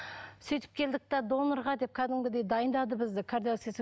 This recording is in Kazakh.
сөйтіп келдік те донорға деп кәдімгідей дайындады бізді